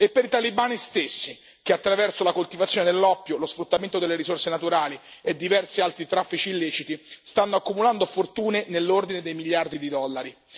e per i talebani stessi, che attraverso la coltivazione dell'oppio, lo sfruttamento delle risorse naturali e diversi altri traffici illeciti, stanno accumulando fortune dell'ordine di miliardi di dollari.